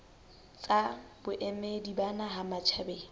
tsa boemedi ba naha matjhabeng